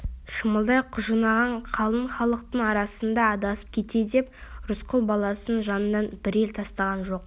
шымалдай құжынаған қалың халықтың арасында адасып кете деп рысқұл баласын жанынан бір елі тастаған жоқ